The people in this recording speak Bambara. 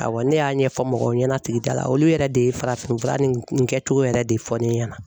Awɔ ne y'a ɲɛfɔ mɔgɔw ɲɛna sigida la, olu yɛrɛ de ye farafin fura nin kɛcogo yɛrɛ de fɔ ne ɲɛna.